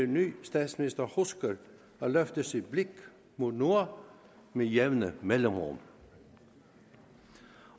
ny statsminister husker at løfte sit blik mod nord med jævne mellemrum